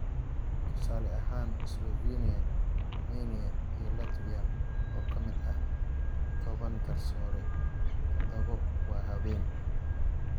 Tusaale ahaan Slovenia, Romania iyo Latvia oo ka mid ah tobaan garsoore, tadhawo waa haween.